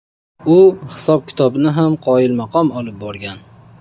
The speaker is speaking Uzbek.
U hisob-kitobni ham qoyilmaqom olib borgan.